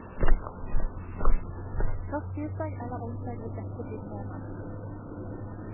Først tirsdag eller onsdag vil dette bli tema.